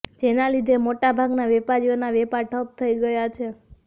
જેના લીધે મોટાભાગના વેપારીઓના વેપાર ઠપ થઈ ગયા છે